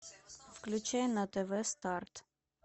включай на тв старт